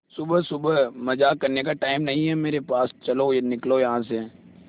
सुबह सुबह मजाक करने का टाइम नहीं है मेरे पास चलो निकलो यहां से